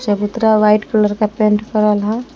चबूतरा white colour क paint करल है।